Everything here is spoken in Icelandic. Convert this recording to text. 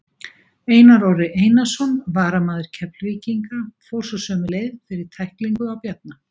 Einar Orri Einarsson, varamaður Keflvíkinga, fór svo sömu leið fyrir tæklingu á Bjarna.